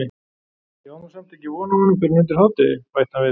Ég á nú samt ekki von á honum fyrr en undir hádegi- bætti hann við.